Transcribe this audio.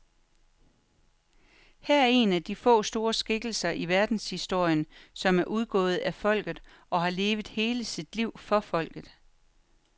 Han er en af de få store skikkelser i verdenshistorien, som er udgået af folket og har levet hele sit liv for folket.